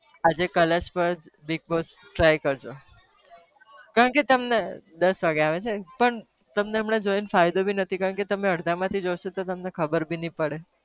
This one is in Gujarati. આજે colours પર big boss try કરજો, કારણ કે તમને દસ વાગે આવે છે, પણ તમને હમણાં જોઈને ફાયદો નથી કારણ કે તમે અડધામાંથી જોશો તો કઈ ખબર બી નહી પડે